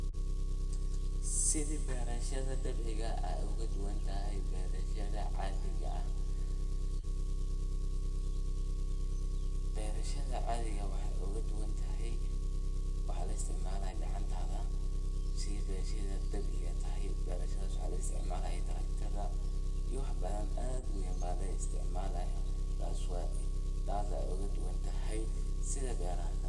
Sidhi berashada dabiiciga ay oga duwantahay berashada caadiga ah, berashada caadiga ah waxey oga duwan tahay waxa laisticmalaya gacantada , sidhaa berashada dabiciiga tahay berashadas waxa laisticmalaya taraktada iyo wax badan aad u weyn ba laisticmalaya waxas ay oga duwan tahay sidha beraha kale.